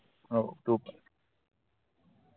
हाओ तू पन